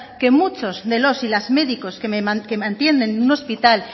que muchos de los y las médicos que mantienen un hospital